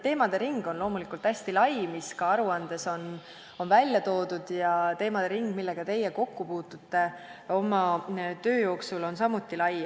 Teemade ring on loomulikult hästi lai, mis aruandes on välja toodud, ja teemade ring, millega teie kokku puutute oma töö jooksul, on samuti lai.